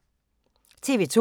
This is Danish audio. TV 2